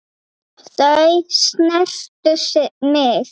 Þau snertu mig.